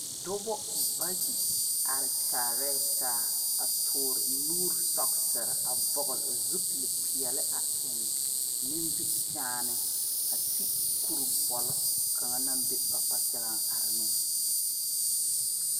Dɔbo bayi are kyaarɛ taa a tuure nuure sɔɔsere a vɔgle zupile peɛle a eŋ nimikyaane a ti kuri bɔle kaŋ naŋ are ba kpakyaŋaŋ a are ne